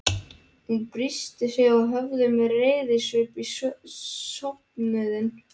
Hann byrsti sig og horfði með reiðisvip á söfnuðinn.